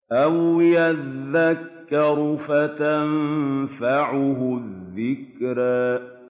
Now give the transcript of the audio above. أَوْ يَذَّكَّرُ فَتَنفَعَهُ الذِّكْرَىٰ